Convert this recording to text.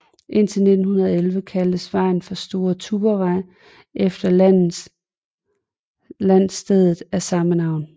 Indtil 1911 kaldtes vejen for Store Tuborgvej efter landstedet af samme navn